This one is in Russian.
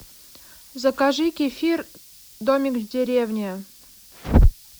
закажи кефир домик в деревне